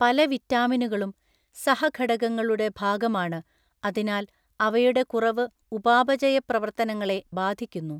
പല വിറ്റാമിനുകളും സഹഘടകങ്ങളുടെ ഭാഗമാണ് അതിനാൽ അവയുടെ കുറവ് ഉപാപചയ പ്രവർത്തനങ്ങളെ ബാധിക്കുന്നു.